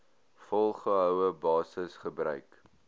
volgehoue basis gebruik